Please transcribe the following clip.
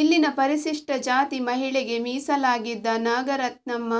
ಇಲ್ಲಿನ ಪರಿಶಿಷ್ಟ ಜಾತಿ ಮಹಿಳೆಗೆ ಮೀಸಲಾಗಿದ್ದ ನಾಗರತ್ನಮ್ಮ